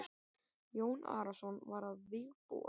Jón Arason var að vígbúast.